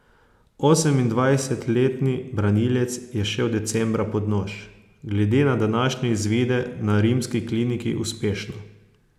Osemindvajsetletni branilec je šel decembra pod nož, glede na današnje izvide na rimski kliniki uspešno.